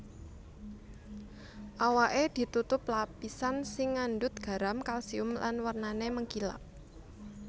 Awaké ditutupi lapisan sing ngandhut garam kalsium lan wernané mengkilap